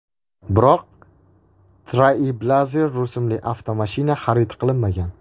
Biroq Trailblazer rusumli avtomashina xarid qilinmagan.